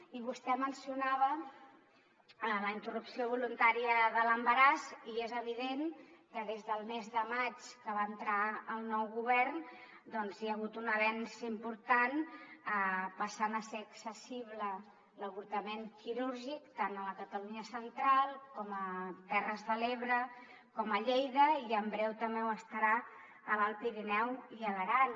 i vostè mencionava la interrupció voluntària de l’embaràs i és evident que des del mes de maig que va entrar el nou govern hi ha hagut un avenç important passant a ser accessible l’avortament quirúrgic tant a la catalunya central com a terres de l’ebre i a lleida i en breu també ho serà a l’alt pirineu i a l’aran